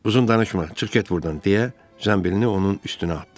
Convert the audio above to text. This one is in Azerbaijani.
Uzun danışma, çıx get burdan, deyə zənbilini onun üstünə atdı.